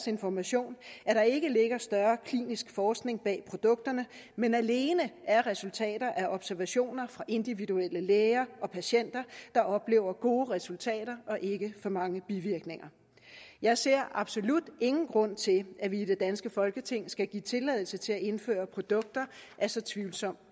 information at der ikke ligger større klinisk forskning bag produkterne men alene resultater af observationer af individuelle læger og patienter der oplever gode resultater og ikke for mange bivirkninger jeg ser absolut ingen grund til at vi i det danske folketing skal give tilladelse til at indføre produkter af så tvivlsom